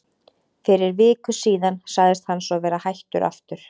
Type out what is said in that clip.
Fyrir viku síðan sagðist hann svo vera hættur aftur.